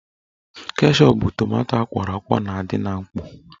Keshọp bụ tomanto akwọrọ akwọ na-adị na mkpọ